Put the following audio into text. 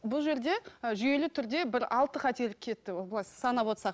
бұл жерде ы жүйелі түрде бір алты қателік кетті былай санап отырсақ